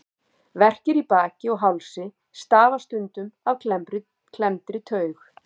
Verkir í baki og hálsi stafa stundum af klemmdri taug.